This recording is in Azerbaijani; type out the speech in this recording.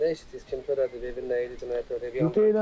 Nə eşitdiniz, kim törədib, evin nə şeyi, cinayət törədib?